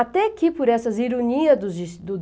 Até que por essas ironias do des do